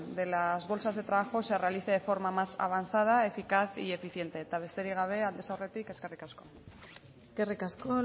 de las bolsas de trabajo se realice de forma más avanzada eficaz y eficiente eta besterik gabe aldez aurretik eskerrik asko eskerrik asko